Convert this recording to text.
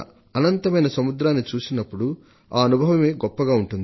అనంతమైన సముద్రాన్ని చూసినప్పుడు ఆ అనుభవమే గొప్పగా ఉంటుంది